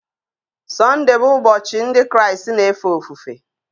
Sunday bụ ụbọchị ndị Kraịst na-efe ofufe